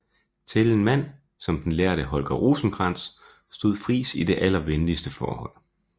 Til en mand som den lærde Holger Rosenkrantz stod Friis i det allervenligste forhold